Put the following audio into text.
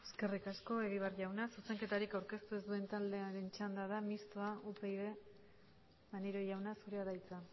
eskerrik asko egibar jauna zuzenketarik aurkeztu ez duen taldearen txanda da mistoa upyd maneiro jauna zurea da hitza